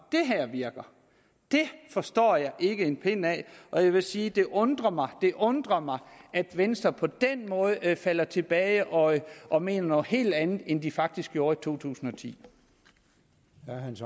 det her virker det forstår jeg ikke en pind af og jeg vil sige det undrer mig undrer mig at venstre på den måde falder tilbage og og mener noget helt andet end de faktisk gjorde i år totusinde